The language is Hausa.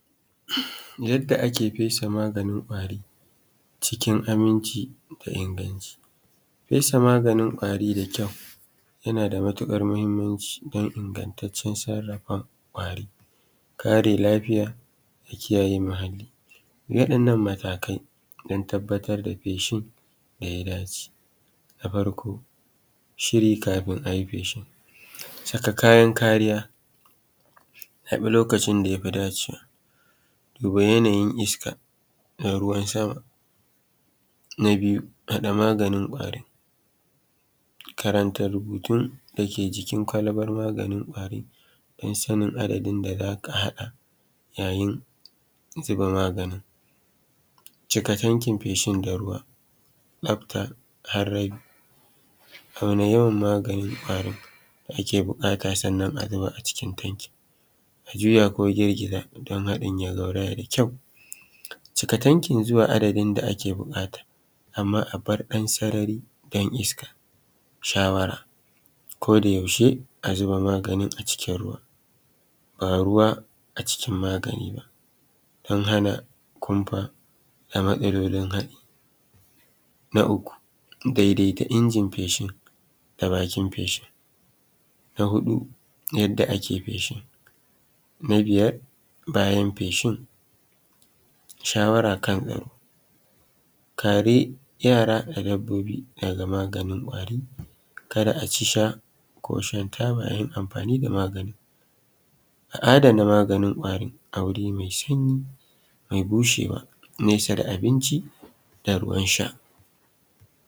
Yadda ake fesa maganin ƙwari cikin inganci da kuma aminci, fesa maganin ƙwari da ƙyau yana da matuƙar mahimmanci don ingantaccen sarrafa kwari da kare lafiyar da kiyaye muhalli. Waɗannan matakai don tabbatar da feshi ya yi aiki. Na farko shiri kafin a yi feshi, saka kayan kariya zaɓin lokacin da ya fi dacewa. Duba yanayiniska na ruwan sama Na biyu hada maganin ƙwari karanta rubutjn da yake jikin kwalbar maganin ƙwari din sanin adadin da za aka haɗa yayin zuba maganin. Cika tankin fshin da ruwa tsafta auna yawan maganin ƙwari da ake bukata sannan a zuba a cikin tanki a juya ko girgiza don haɗin ya gauraya da ƙyau. Ciki tankin dan zuwa adadin da ake buƙata, amma a bar ɗan sarari don isaka. Shawara koayaushe a zuba maganin a cikin ruwa ba ruwa a cikin magani ba, don hana kunfa da matsalolin haɗin. Na ukun daidaita injini feshin da bakin feshin. Na huɗu yadda ake feshin. Na biyar bayan fsehin shawara kan kare kai. Kare yara da dabbobi daga maganin ƙwari ka da a ci sha ko shan taba yayin amfani da maganin. A adana maganin ƙwari a wuri mai sanyi mai bushewa nesa da abinci da ruwan sha.